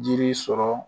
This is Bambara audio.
Jiri sɔrɔ